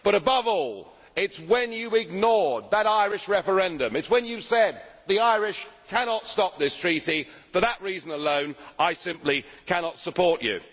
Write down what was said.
But, above all, it is the fact that you ignored that Irish referendum, that you said the Irish cannot stop this Treaty for that reason alone, I simply cannot support